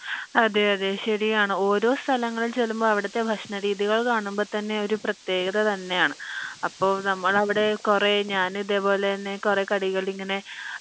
അതെ അതെ ശെരി ആണ് ഓരോ സലങ്ങളിൽ ചെല്ലുമ്പോ അവിടത്തെ ഭക്ഷണ രീതികൾ കാണുമ്പോ തന്നെ ഒരു പ്രതേകത തന്നെ ആണ് അപ്പൊ നമ്മൾ അവിടെ കൊറേ ഞാൻ ഇതേപോലെ തന്നെ കൊറേ കടികൾ ഇങ്ങനെ